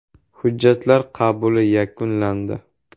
“Hujjatlar qabuli yakunlandi.